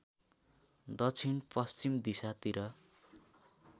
दक्षिण पश्चिम दिशातिर